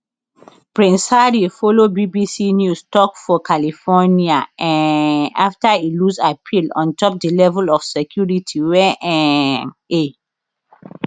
prince harry follow bbc news tok for california um afta e lose appeal on top di level of security wey um e